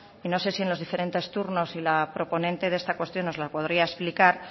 y no sé si en los diferentes turnos y la proponente de esta cuestión nos las podría explicar